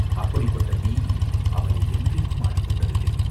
அப்படிப்பட்ட பீதி அவனை என்றைக்கும் ஆட்கொண்டதில்லை.